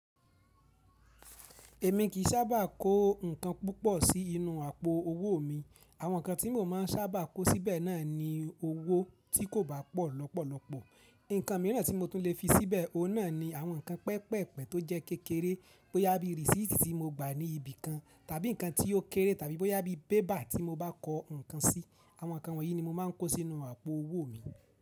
Èmi kì í sábà ko nǹkan púpọ̀ sí inú àpò owó mi. Àwọn nǹkan tí mo má n sábà kọ síbẹ̀ náà ni owó tí kò bá pọ̀ lọ́pọ̀lọpọ̀. Nǹkan mìíràn tí mo tún lè fi síbẹ̀ ní àwọn nǹkan pẹpẹ̀pẹ̀ tó jẹ́ kékeré bó yá bí rísítì tí mo gba ní ibìkan tàbí nǹkan tí ó kéré tàbí bó yá bí bébà tí mo bá kọ nǹkan sí. Àwọn nǹkan wọ̀ yìí ni mo má n kó sínú àpò owó mi.